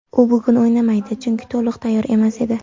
U bugun o‘ynamadi, chunki to‘liq tayyor emas edi.